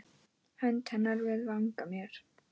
Hönd hennar við vanga mér